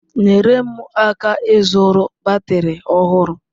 Nyere m aka ịzụrụ batrị ọhụrụ.